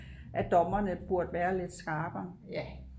at dommerne burde være lidt skarpere